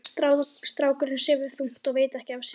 Strákurinn sefur þungt og veit ekki af sér.